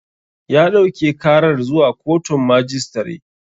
Ya ɗauke karar zuwa koton majistare